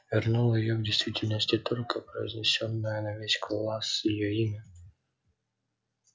вернуло её к действительности только произнесённое на весь класс её имя